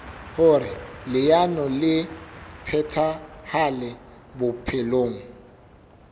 hoer leano le phethahale bophelong